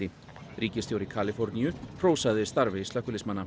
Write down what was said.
ríkisstjóri Kaliforníu hrósaði starfi slökkviliðsmanna